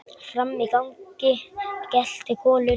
Frammi í gangi geltir Kolur.